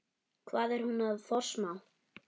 Hvað er hún að forsmá?